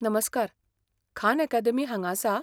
नमस्कार, Khan Academy हांगां आसा?